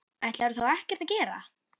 Ætlarðu þá ekkert að gera?